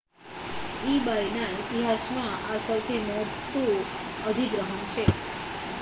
ebayના ઇતિહાસમાં આ સૌથી મોટું અધિગ્રહણ છે